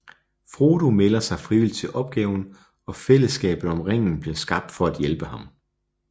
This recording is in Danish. Frodo melder sig frivilligt til opgaven og fællesskabet om ringen bliver skabt for at hjælpe ham